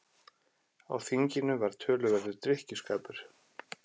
Á þinginu var töluverður drykkjuskapur.